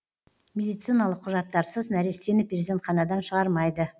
медициналық құжаттарсыз нәрестені перзентханадан шығармайды